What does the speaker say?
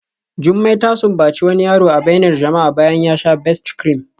Jumai ta sumbaci wani yaro a bainar jama'a bayan ya sha Best-cream